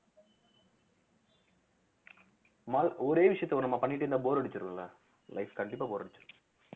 ஒரே விஷயத்த நம்ம பண்ணிட்டு இருந்தா bore அடிச்சிரும் இல்ல life கண்டிப்பா bore அடிச்சிரும்